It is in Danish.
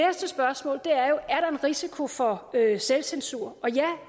risiko for selvcensur og ja